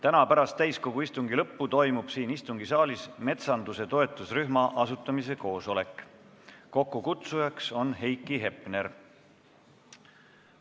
Täna pärast täiskogu istungi lõppu toimub siin istungisaalis metsanduse toetusrühma asutamise koosolek, mille kokkukutsuja on Heiki Hepner.